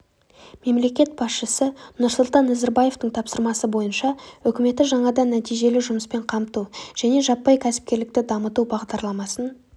мемлекет басшысы нұрсұлтан назарбаевтың тапсырмасы бойынша үкіметі жаңадан нәтижелі жұмыспен қамту және жаппай кәсіпкерлікті дамыту бағдарламасын